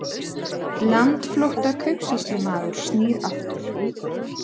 Landflótta kaupsýslumaður snýr aftur